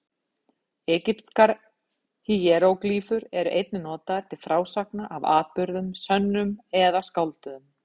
Egypskar híeróglýfur eru einnig notaðar til frásagna af atburðum, sönnum eða skálduðum.